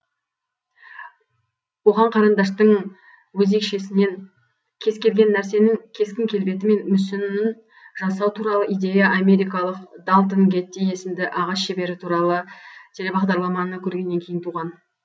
оған қарандаштың өзекшесінен кез келген нәрсенің кескін келбеті мен мүсінін жасау туралы идея америкалық далтон гетти есімді ағаш шебері туралы телебағдарламаны көргеннен кейін туған